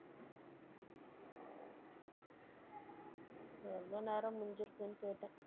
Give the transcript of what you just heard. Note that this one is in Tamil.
எவ்வளவு நேரம் முடிஞ்சுருக்குன்னு கேட்டேன்